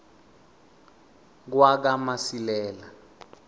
kwakamasilela